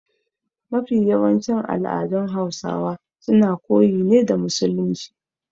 Mafi yawancin al'adun Hausawa suna koyi ne da musulunci.